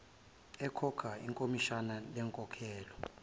ekhokha ikhomishani lenkolelo